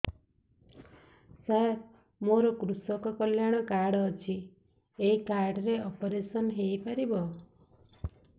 ସାର ମୋର କୃଷକ କଲ୍ୟାଣ କାର୍ଡ ଅଛି ଏହି କାର୍ଡ ରେ ଅପେରସନ ହେଇପାରିବ